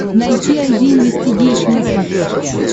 найти айди инвестигейшн на смотрешке